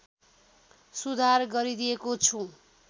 सुधार गरिदिएको छु